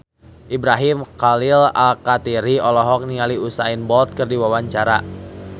Ibrahim Khalil Alkatiri olohok ningali Usain Bolt keur diwawancara